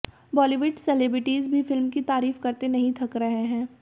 Bollywood celebrities भी film की तारीफ करते नहीं थक रहे हैं